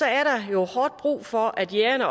er der hårdt brug for at jægerne